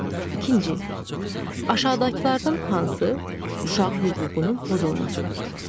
İkinci, aşağıdakılardan hansı uşaq hüququnun pozulmasıdır?